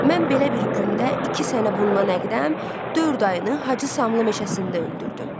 Mən belə bir gündə iki sənə bundan əqdəm dörd ayını Hacı Samlı meşəsində öldürdüm.